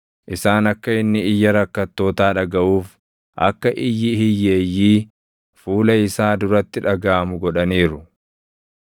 Isaan akka inni iyya rakkattootaa dhagaʼuuf, akka iyyi hiyyeeyyii fuula isaa duratti dhagaʼamu godhaniiru.